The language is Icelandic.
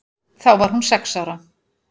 Þá var hún sex ára.